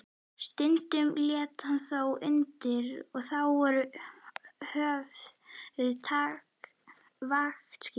Stundum lét hann þó undan og þá voru höfð vaktaskipti.